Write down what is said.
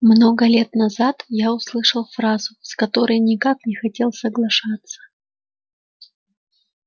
много лет назад я услышал фразу с которой никак не хотел соглашаться